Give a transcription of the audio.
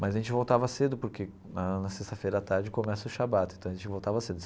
Mas a gente voltava cedo, porque na na sexta-feira à tarde começa o Shabbat, então a gente voltava cedo.